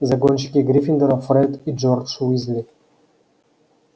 загонщики гриффиндора фред и джордж уизли